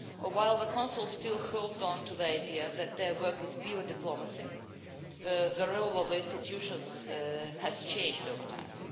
While the Council still holds on to the idea that their work is pure diplomacy, the role of the institutions has changed over time.